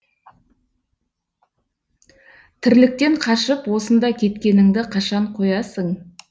тірліктен қашып осында кеткеніңді қашан қоясың